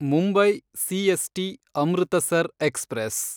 Mumbai CST Amritsar express